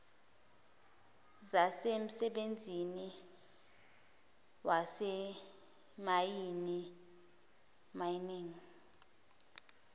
zasemsebenzini wasezimayini mining